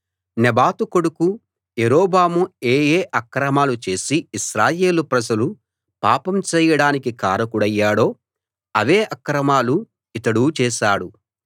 నెబాతు కొడుకు యరొబాము ఏ ఏ అక్రమాలు చేసి ఇశ్రాయేలు ప్రజలు పాపం చేయడానికి కారకుడయ్యాడో అవే అక్రమాలు ఇతడూ చేశాడు